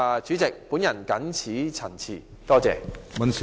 主席，我謹此陳辭，謝謝。